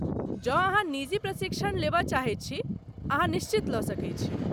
जौं अहाँ निजी प्रशिक्षण लेबय चाहैत छी, अहाँ निश्चित लऽ सकैत छी।